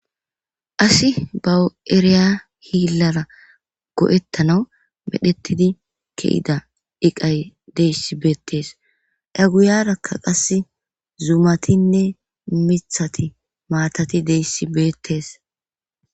Asi bawu7eriya hiillara go7ettana medhettidi ke7ida iqay deyssi beettees aguyarakka qass zuumatinne mithati maatati deyssi beettees.